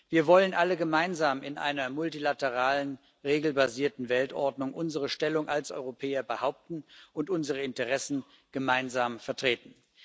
Wir wollen alle gemeinsam in einer multilateralen regelbasierten Weltordnung unsere Stellung als Europäer behaupten und unsere Interessen gemeinsam vertreten.